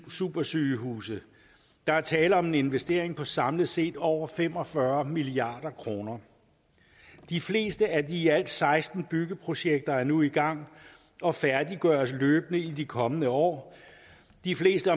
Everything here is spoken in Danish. supersygehuse der er tale om en investering på samlet set over fem og fyrre milliard kroner de fleste af de alt seksten byggeprojekter er nu i gang og færdiggøres løbende i de kommende år de fleste